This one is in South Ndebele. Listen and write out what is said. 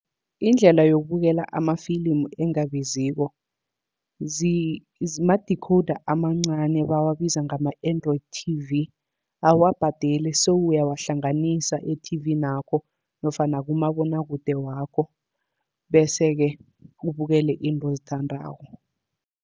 Indlela yokubukela amafilimu engabiziko, ma-decoder amancani bawabiza ngama-Android T_V. Awuwabhadeli se uyawahlanganisa ethivinakho nofana kumabonwakude wakho. Bese-ke ubukele izinto ozithandako.